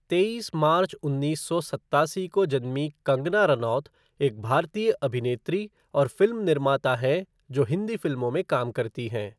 तेईस मार्च उन्नीस सौ सत्तासी को जन्मी कंगना रनौत एक भारतीय अभिनेत्री और फ़िल्म निर्माता हैं जो हिंदी फ़िल्मों में काम करती हैं।